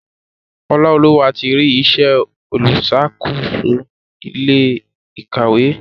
Olaoluwa tí rí ìṣe oluṣakoso ilé ìkàwé.